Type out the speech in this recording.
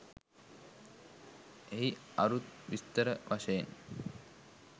එහි අරුත් විස්තර වශයෙන්